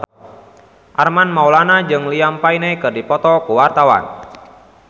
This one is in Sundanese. Armand Maulana jeung Liam Payne keur dipoto ku wartawan